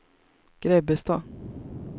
Grebbestad